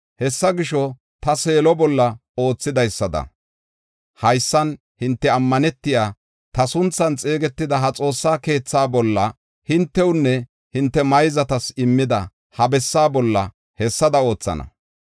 Hessa gisho, ta Seelo bolla oothidaysada haysan hinte ammanetiya, ta sunthan xeegetida ha Xoossa keethaa bolla, hintewunne hinte mayzatas immida ha bessaa bolla hessada oothana.